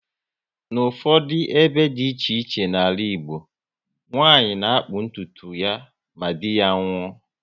N'ufodu ebe dị iche iche n'ala Igbo, nwanyị na-akpụ ntụtu ya ma dị ya nwuo